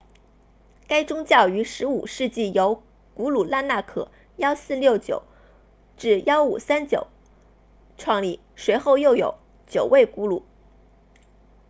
该宗教于15世纪由古鲁纳纳克 1469-1539 创立随后又有九位古鲁